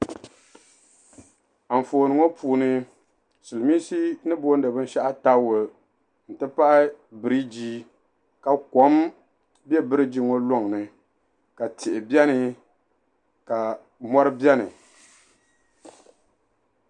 Anfooni ŋɔ puuni siliminsi ni booni taawula n ti pahi biriji ka kom be biriji ŋɔ lɔŋn, ka tihi beni ka mɔri beni.